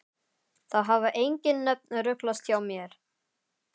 Það hafa engin nöfn ruglast hjá mér.